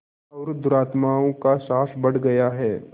और दुरात्माओं का साहस बढ़ गया है